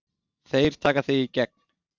Þeir taka þig í gegn!